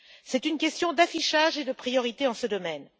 c'est une question d'affichage et de priorités en ce domaine.